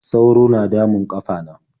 sauro na damun ƙafana.